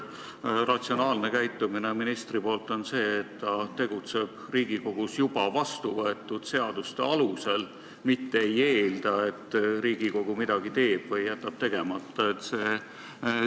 Ministri ratsionaalne käitumine on see, et ta tegutseb Riigikogus juba vastuvõetud seaduste alusel, mitte ei eelda, et Riigikogu midagi teeb või tegemata jätab.